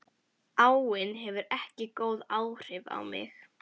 Áin hefur ekki góð áhrif á mig.